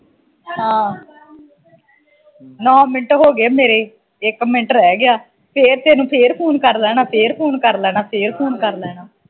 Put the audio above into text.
ਹਾਂ ਨੋ ਮਿੰਟ ਹੋਗੇ ਮੇਰੇ ਇਕ ਮਿੰਟ ਰਹਿ ਗਿਆ ਫਿਰ ਤੈਨੂੰ ਫਿਰ ਫੋਨ ਕਰ ਲੈਣਾ, ਫਿਰ ਫੋਨ ਕਰ ਲੈਣਾ, ਫਿਰ ਫੋਨ ਕਰ ਲੈਣਾ